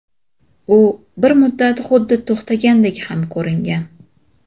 U bir muddat xuddi to‘xtagandek ham ko‘ringan.